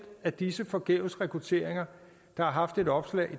af disse forgæves rekrutteringer der har haft et opslag